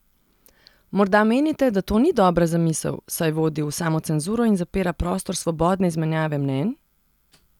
Morda menite, da to ni dobra zamisel, saj vodi v samocenzuro in zapira prostor svobodne izmenjave mnenj?